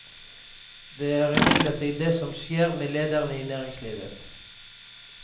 Det er imidlertid det som skjer med lederne i næringslivet.